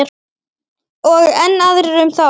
Og enn aðrir um þá.